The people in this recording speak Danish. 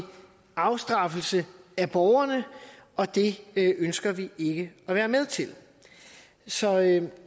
afstraffelse af borgerne og det ønsker vi ikke at være med til så jeg